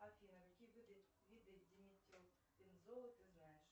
афина какие виды диметилбензола ты знаешь